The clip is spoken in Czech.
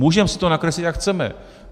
Můžeme si to nakreslit, jak chceme.